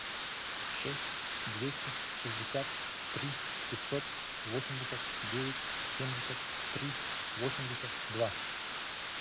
шесть двести шестьдесят три пятьсот восемьдесят девять семьдесят три восемьдесят два